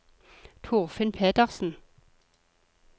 Torfinn Petersen